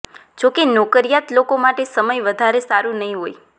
જોકે નોકરિયાત લોકો માટે સમય વધારે સારું નહિ હોય